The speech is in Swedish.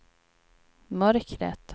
mörkret